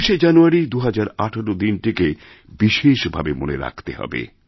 ২৬শে জানুয়ারি ২০১৮ দিনটিকে বিশেষভাবে মনে রাখতে হবে